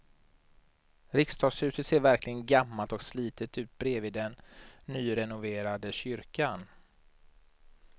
Riksdagshuset ser verkligen gammalt och slitet ut bredvid den nyrenoverade kyrkan.